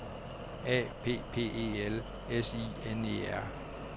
A P P E L S I N E R